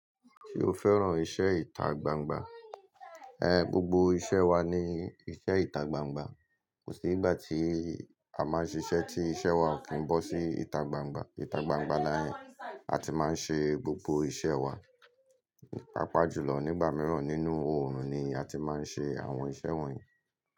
Ṣé o fẹ́ràn iṣẹ́ ìta gbangba? Ẹn, gbogbo iṣẹ́ wa ni iṣẹ́ ìta gbangba. Kò sí ìgbà tí a máa ń ṣiṣẹ́ tí iṣẹ́ wa ki ń bọ́ sí ìta gbangba. Ìta gbangba ni a ti máa ń ṣe gbogbo iṣẹ́ wa. Pápá jùlọ nígbà mìíràn nínú òòrùn ni a ti máa ń ṣe àwọn iṣẹ́ wọ̀nyí.